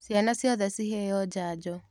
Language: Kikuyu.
Ciana ciothe ciheo njanjo.